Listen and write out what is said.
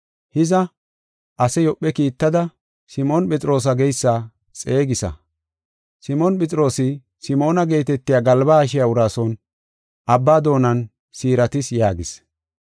Hiza, ase Yoophe kiittada, Simoon Phexroosa geysa xeegisa. Simoon Phexroosi Simoona geetetiya galba haashiya uraa son abba doonan siiratis’ yaagis.